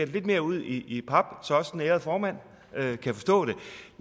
lidt mere ud i pap så også den ærede formand kan forstå det